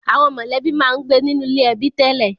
Àwọn mọ̀lẹ́bí máa ń gbé nínú ilé ẹbí tẹ́lẹ̀